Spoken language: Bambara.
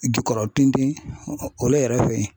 Jukɔrɔ tintin olu yɛrɛ fɛ yen.